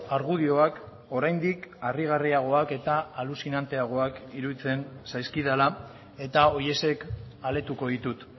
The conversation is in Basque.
argudioak oraindik harrigarriagoak eta aluzinanteagoak iruditzen zaizkidala eta horiexek aletuko ditut